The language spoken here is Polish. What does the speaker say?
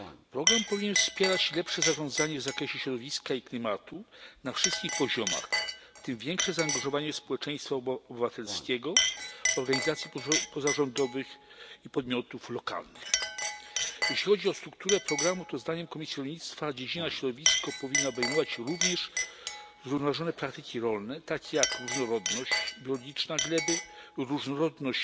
Program powinien wspierać lepsze zarządzanie w zakresie środowiska i klimatu na wszystkich poziomach, w tym większe zaangażowanie społeczeństwa obywatelskiego, organizacji pozarządowych i podmiotów lokalnych. Jeśli chodzi o strukturę programu, to zdaniem Komisji Rolnictwa dziedzina Środowisko powinna obejmować również zrównoważone praktyki rolne, takie jak różnorodność biologiczna gleby, różnorodność